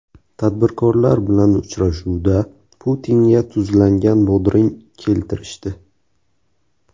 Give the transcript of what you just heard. Tadbirkorlar bilan uchrashuvda Putinga tuzlangan bodring keltirishdi.